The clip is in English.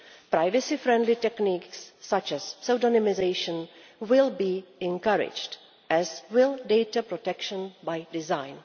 Privacy friendly techniques, such as pseudonymisation, will be encouraged, as will data protection by design.